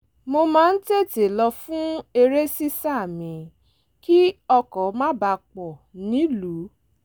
mo máa ń tètè lọ fún eré sísá mi kí ọkọ̀ má bàa pọ̀ nílùú